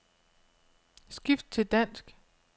Skift til dansk.